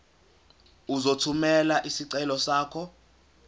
uzothumela isicelo sakho